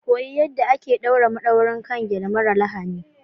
Koyi yadda ake ɗaure madaurin kan gele mara lahani.